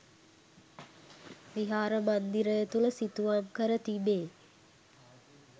විහාර මන්දිරය තුළ සිතුවම් කර තිබේ.